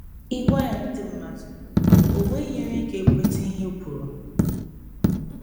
Ị gwa ya ndị mmadụ, o nweghị onye ga - ekweta ihe i kwuru.